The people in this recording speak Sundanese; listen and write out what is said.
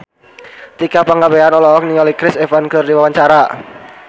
Tika Pangabean olohok ningali Chris Evans keur diwawancara